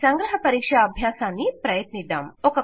ఈ సంగ్రహ పరీక్షా అభ్యాసాన్ని ప్రయత్నిద్దాం